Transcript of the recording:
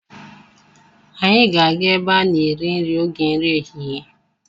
Anyị ga-aga ebe a na-eri nri oge nri ehihie.